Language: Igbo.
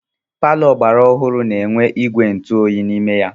Paló ogbara ọhụụ na -enwe ìgwè ntụ oyi n'ime ya.